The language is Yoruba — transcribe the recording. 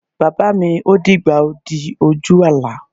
Bàbá mi, ó dìgbà o. Ó di ojú àlá.